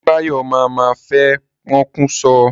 Débáyọ̀ mà mà fẹ́ pokùn so.